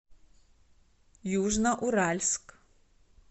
южноуральск